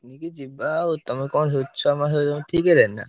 Picnic ଯିବା ଆଉ ତମେ କଣ ଠିକ୍ ହେଲାଣି ନା?